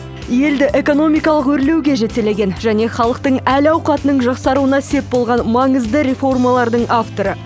елді экономикалық өрлеуге жетелеген және халықтың әл ауқатының жақсаруына сеп болған маңызды реформалардың авторы